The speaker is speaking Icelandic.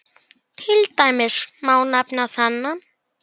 Til dæmis má nefna þennan